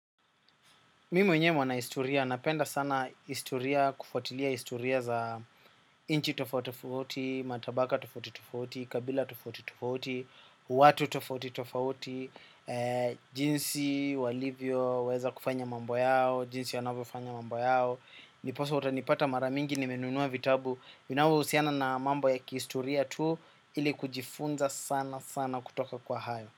Mi mwenyewe mwana historia, napenda sana historia, kufuatilia historia za nchi tofauti, matabaka tofauti tofauti, kabila tofauti tofauti, watu tofauti tofauti, jinsi walivyoweza kufanya mambo yao, jinsi wanavyofanya mambo yao. Ndiposa utanipata mara mingi nimenunua vitabu, vinavyohusiana na mambo ya kihistoria tu, ili kujifunza sana sana kutoka kwa hayo.